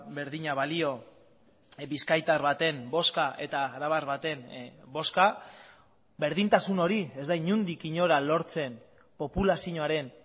berdina balio bizkaitar baten bozka eta arabar baten bozka berdintasun hori ez da inondik inora lortzen populazioaren